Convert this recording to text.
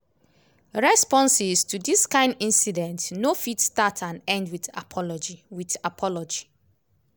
responses to dis kain incidents no fit start and end wit apology. wit apology.